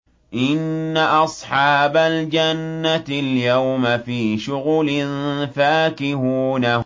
إِنَّ أَصْحَابَ الْجَنَّةِ الْيَوْمَ فِي شُغُلٍ فَاكِهُونَ